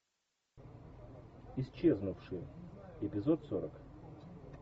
исчезнувшие эпизод сорок